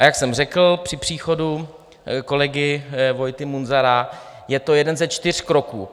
A jak jsem řekl při příchodu kolegy Vojty Munzara, je to jeden ze čtyř kroků.